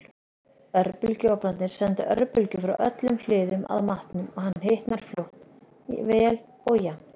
Örbylgjuofnarnir senda örbylgjur frá öllum hliðum að matnum og hann hitnar fljótt, vel og jafnt.